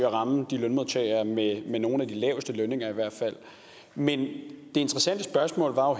at ramme lønmodtagere med med nogle af de laveste lønninger men det interessante spørgsmål var